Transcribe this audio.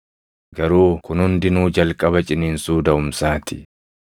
Garuu kun hundinuu jalqaba ciniinsuu daʼumsaa ti.